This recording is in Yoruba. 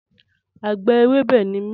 Àgbẹ̀ ewébẹ̀ ni mí